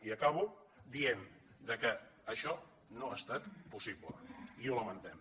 i acabo dient que això no ha estat possible i ho lamentem